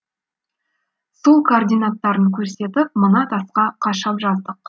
сол координаттарын көрсетіп мына тасқа қашап жаздық